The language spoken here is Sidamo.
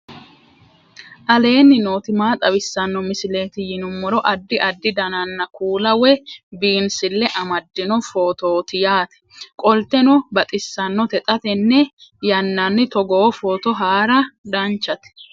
aleenni nooti maa xawisanno misileeti yinummoro addi addi dananna kuula woy biinsille amaddino footooti yaate qoltenno baxissannote xa tenne yannanni togoo footo haara danvchate